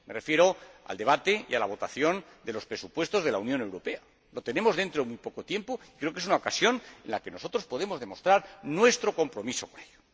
Me refiero al debate y a la votación de los presupuestos de la Unión Europea. Se celebrarán dentro de muy poco tiempo y creo que es una ocasión en la que nosotros podemos demostrar nuestro compromiso con ello.